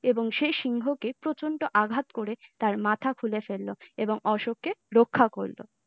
এবং সে সিংহ কে প্রচন্ড আঘাত করে তার মাথা খুলে ফেললো এবং অশোক কে রক্ষা করল ।